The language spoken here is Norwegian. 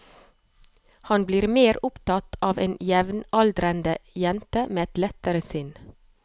Han blir mer opptatt av en jevnaldrende jente med et lettere sinn.